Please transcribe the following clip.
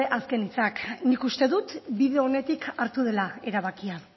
azken hitzak nik uste dut bide onetik hartu dela erabakia